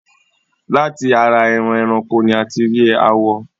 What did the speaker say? láti ara eran ẹranko ni a ti rí àwọ̀